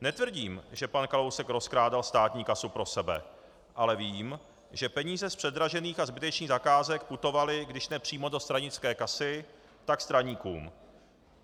Netvrdím, že pan Kalousek rozkrádal státní kasu pro sebe, ale vím, že peníze z předražených a zbytečných zakázek putovaly když ne přímo do stranické kasy, tak straníkům.